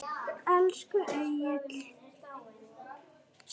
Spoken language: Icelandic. Elsku Egill.